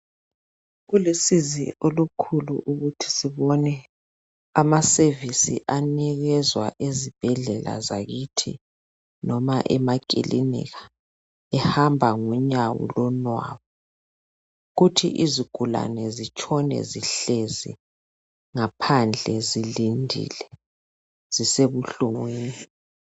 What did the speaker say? Kulusizi olukhulu ukuthi sibone ama service anikezwa ezibhedlela zakithi noma emakilinika ehamba ngonyawo lonwabu kuthi izigulane zitshone zihlezi ngaphandle zilindile zisebuhlungwini.